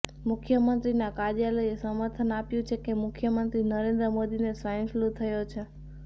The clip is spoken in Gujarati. મુખ્યમંત્રીના કાર્યાલયે સમર્થન આપ્યું છે કે મુખ્યમંત્રી નરેન્દ્ર મોદીને સ્વાઈન ફ્લૂ થયો છે